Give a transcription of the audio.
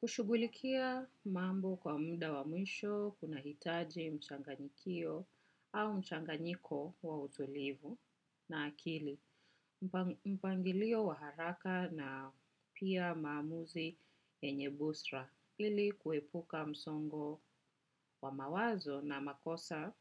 Kushugulikia mambo kwa mda wa mwisho, kuna hitaji mchanganyikio au mchanganyiko wa utulivu na akili. Mpangilio wa haraka na pia maamuzi yenye busra. Lili kuepuka msongo wa mawazo na makosa